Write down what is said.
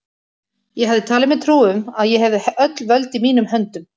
Ég hafði talið mér trú um, að ég hefði öll völd í mínum höndum.